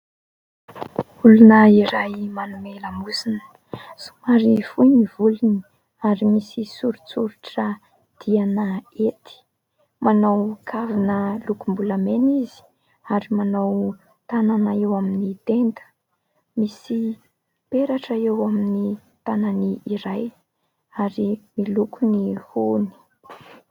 Olona iray : manome lamosina, somary fohy ny volony ary misy soritsoritra diana hety. Manao kavina lokom-bolamena izy ary manao tanana eo amin'ny tenda. Misy peratra eo amin'ny tanany iray ary miloko ny hohony.